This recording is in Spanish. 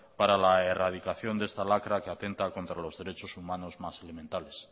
para la erradicación de esta lacra que atenta contra los derechos humanos más elementales